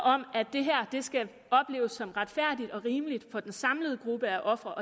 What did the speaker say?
om at det her skal opleves som retfærdigt og rimeligt for den samlede gruppe af ofre